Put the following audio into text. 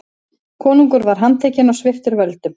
Konungur var handtekinn og sviptur völdum.